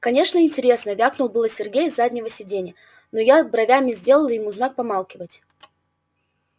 конечно интересно вякнул было сергей с заднего сидения но я бровями сделал ему знак помалкивать